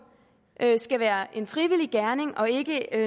skal være en frivillig gerning og ikke